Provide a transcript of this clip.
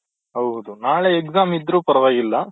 ಹೌದು ನಾಳೆ exam ಇದ್ರೂ ಪರ್ವಾಗಿಲ್ಲ